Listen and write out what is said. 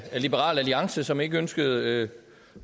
liberal alliance som ikke ønskede